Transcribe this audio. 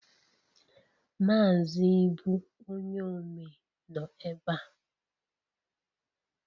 Mazị Ibu onye omee nọ ebe a